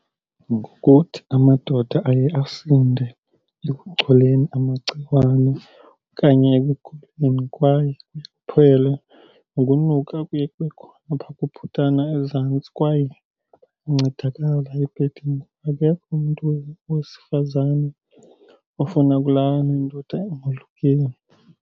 Ngokuthi amadoda aye asinde ekucholeni amagciwane okanye ekuguleni kwaye kuye kuphele nokunuka okuye kube khona phaa kubhutana ezantsi. Kwaye kuncedakala ebhedini, akekho umntu wesifazane ofuna ukulala nendoda engolukiyo.